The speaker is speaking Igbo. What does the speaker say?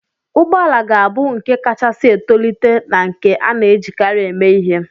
Ụgbọ ala ga-abụ nke kachasị etolite na nke a na-ejikarị eme ihe.